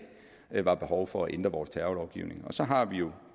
det var behov for at ændre vores terrorlovgivning så har vi jo